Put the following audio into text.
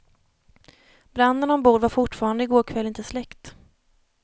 Branden ombord var fortfarande i går kväll inte släckt.